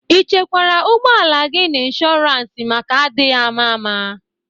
I chekwara ụgbọala gị n'inshụrans maka adịghị ama ama?